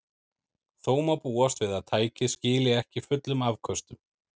Þó má búast við að tækið skili ekki fullum afköstum.